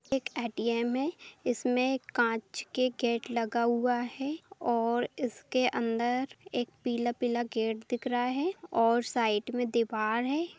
एक ए.टी.एम. है इसमें कांच के गेट लगा हुआ है और इसके अंदर एक पीला-पीला गेट दिख रहा है और साइड में दीवार है।